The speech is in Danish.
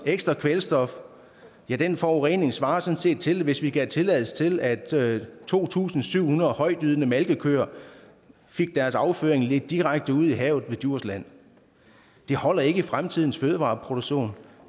ekstra kvælstof ja den forurening svarer sådan set til hvis vi gav tilladelse til at to tusind syv hundrede højtydende malkekøer fik deres afføring ledt direkte ud i havet ved djursland det holder ikke i fremtidens fødevareproduktion